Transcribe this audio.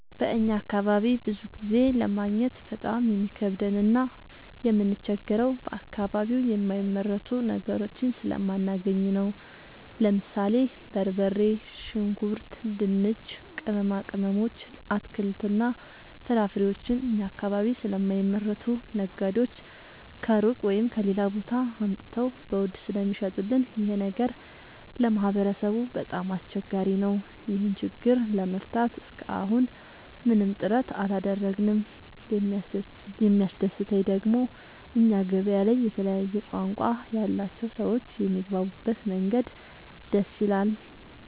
በእኛ አካባቢ ብዙ ጊዜ ለማግኘት በጣም የሚከብደን እና የምንቸገረው በአከባቢው የማይመረቱ ነገሮችን ስለማናገኝ ነው። ለምሳሌ፦ በርበሬ፣ ሽንኩርት፣ ድንች፣ ቅመማ ቅመሞች፣ አትክልትና ፍራፍሬዎችን እኛ አካባቢ ስለማይመረቱ ነጋዴዎች ከሩቅ(ከሌላ ቦታ) አምጥተው በውድ ስለሚሸጡልን ይኸ ነገር ለማህበረሰቡ በጣም አስቸጋሪ ነው። ይህን ችግር ለመፍታት እሰከ አሁን ምንም ጥረት አላደረግንም። የሚያስደሰተኝ ደግሞ እኛ ገበያ ላይ የተለያየ ቋንቋ ያላቸው ሰዎች የሚግባቡበት መንገድ ደስ ይላል።